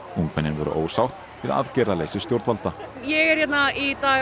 ungmennin voru ósátt við aðgerðaleysi stjórnvalda ég er hérna í dag